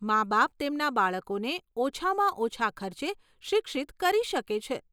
માબાપ તેમના બાળકોને ઓછામાં ઓછાં ખર્ચે શિક્ષિત કરી શકે છે.